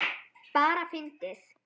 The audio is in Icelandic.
Bara fyndið.